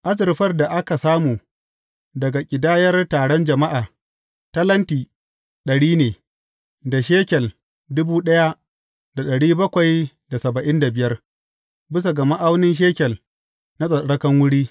Azurfar da aka samu daga ƙidayar taron jama’a, talenti dari ne, da shekel bisa ga ma’aunin shekel na tsattsarkan wuri.